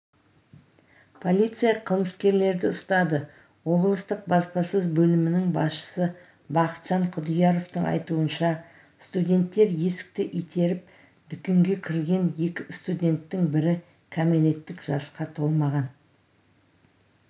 полиция қылмыскерлерді ұстады облыстық баспасөз бөлімінің басшысы бақытжан құдияровтың айтуынша студенттер есікті итеріп дүкенге кірген екі студенттің бірі кәмелеттік жасқа толмаған